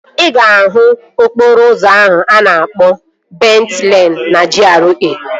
Ị ga-ahụ okporo ụzọ a na-akpọ Bent Leen na GRA